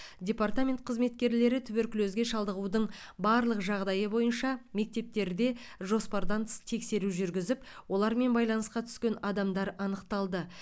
департамент қызметкерлері туберкулезге шалдығудың барлық жағдайы бойынша мектептерде жоспардан тыс тексеру жүргізіп олармен байланысқа түскен адамдар анықталды